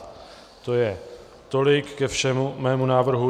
To je tolik ke všemu mému návrhu.